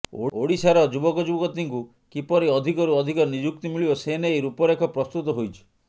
ଓଡ଼ିଶାର ଯୁବକଯୁବତୀଙ୍କୁ କିପରି ଅଧିକରୁ ଅଧିକ ନିଯୁକ୍ତି ମିଳିବ ସେ ନେଇ ରୂପରେଖ ପ୍ରସ୍ତୁତ ହୋଇଛି